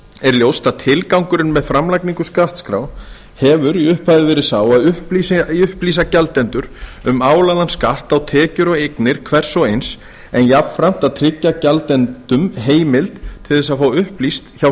er ljóst að tilgangurinn með framlagningu skattskrár hefur í upphafi verið sá að upplýsa gjaldendur um álagðan skatt á tekjur og eignir hvers og eins en jafnframt að tryggja gjaldendum heimild til að fá upplýst hjá